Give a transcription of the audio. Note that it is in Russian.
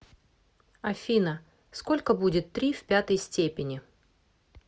афина сколько будет три в пятой степени